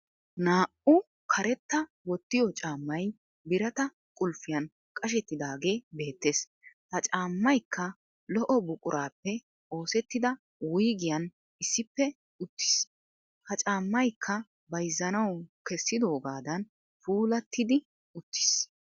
naa"u karetta wottiyoo caammay birata qulffiyan cashettidaage beettes. ha caammaykka lo"o buquraappe oosettida wuyggiyan issippe uttis. ha caamaykka bayzzanawu kessidogaadan puulattidi uttis.